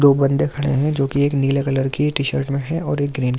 दो बन्दे खड़े हैं जो कि एक नीले कलर टी-शर्ट मे हैं और एक ग्रीन --